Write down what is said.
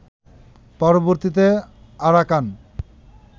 পরবর্তীতে আরাকান